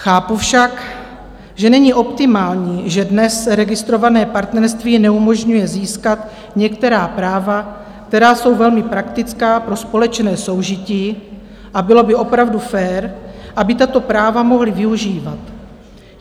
Chápu však, že není optimální, že dnes registrované partnerství neumožňuje získat některá práva, která jsou velmi praktická pro společné soužití, a bylo by opravdu fér, aby tato práva mohli využívat.